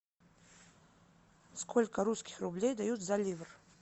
сколько русских рублей дают за ливр